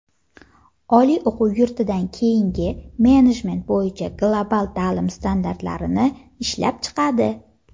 oliy o‘quv yurtidan keyingi menejment bo‘yicha global taʼlim standartlarini ishlab chiqadi.